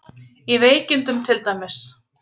Í veikindum til dæmis.